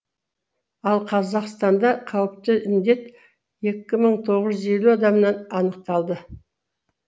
ал қазақстанда қауіпті індет екі мың тоғыз жүз адамнан анықталды